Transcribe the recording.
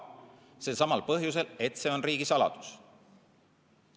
Selsamal põhjusel, et see on riigisaladus.